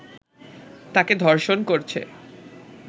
তাকে ধর্ষণ করছে